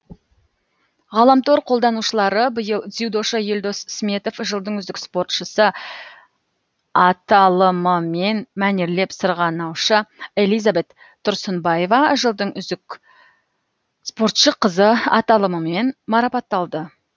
ғаламтор қолданушылары биыл дзюдошы елдос сметов жылдың үздік спортшысы аталымымен мәнерлеп сырғанаушы элизабет тұрсынбаева жылдың үздік спортшы қызы аталымымен марапатталды